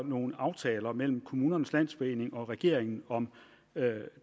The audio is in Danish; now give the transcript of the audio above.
nogle aftaler mellem kommunernes landsforening og regeringen om